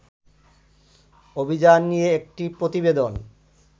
অভিযান নিয়ে একটি প্রতিবেদন